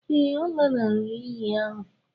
Ee, ọ lanarịrị iyi ahụ.